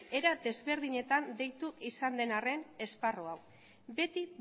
era desberdinetan deitu izan den arren esparru hau beti